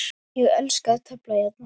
Ég elska að tefla hérna.